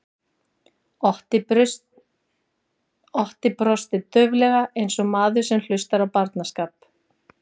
Otti brosti dauflega eins og maður sem hlustar á barnaskap.